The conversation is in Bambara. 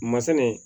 Masinɛ